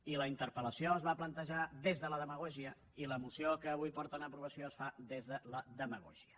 i la interpel·lació es va plantejar des de la demagògia i la moció que avui porten a aprovació es fa des de la demagògia